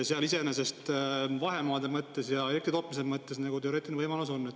Iseenesest vahemaade mõttes ja elektri tootmise mõttes teoreetiline võimalus on.